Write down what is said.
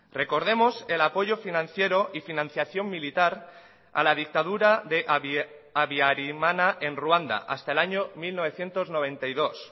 recordemos el apoyo financiero y financiación militar a la dictadura de abiarimana en ruanda hasta el año mil novecientos noventa y dos